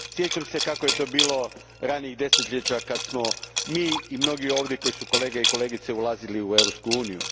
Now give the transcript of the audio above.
Sjećam se kako je to bilo ranijih desetljeća kad smo mi i mnogi ovdje koji su kolege i kolegice ulazili u Europsku uniju.